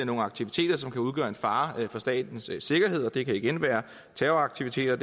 nogle aktiviteter som kan udgøre en fare for statens sikkerhed det kan igen være terroraktiviteter